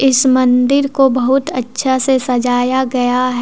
इस मंदिर को बहुत अच्छा से सजाया गया है।